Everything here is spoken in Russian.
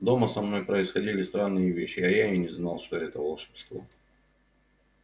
дома со мной происходили странные вещи а я и не знал что это волшебство